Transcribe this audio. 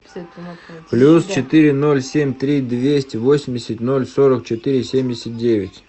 плюс четыре ноль семь три двести восемьдесят ноль сорок четыре семьдесят девять